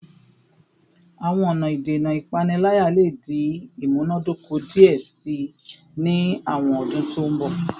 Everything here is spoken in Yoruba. Awọn ọna idena ipanilaya le di imunadoko diẹ sii ni awọn ọdun to n bọ